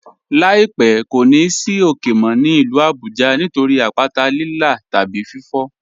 "Láípẹ̀ kò ní ì sì ókè mó ní ilú Àbújá nítorí àpàtà Lílà tàbí fífò.